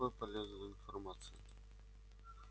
никакой полезной информации